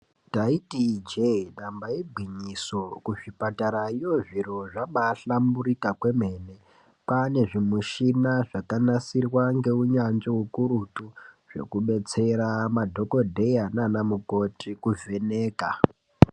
Taiti ijee damba igwinyiso kuzvipatara ikweyo zviro zvabahlamburika kwemene kwaane zvimushina zvakanasirwa ngeunyanzvi ukuru zvekubetsera madhokodheya naanamukoti kuvheneka.